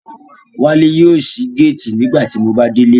Wale yóò sí gáàtì nígbà tí Mo bá délé